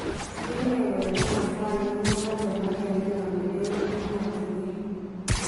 Tyengee kole komasta ainon nebo chemarket nename euun emotunwek